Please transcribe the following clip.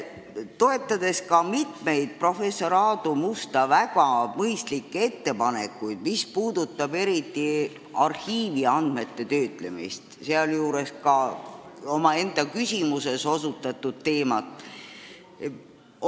Toetame ka mitut professor Aadu Musta väga mõistlikku ettepanekut, eriti neid, mis puudutavad arhiiviandmete töötlemist, sealjuures tema enda küsimuses osutatud teemat.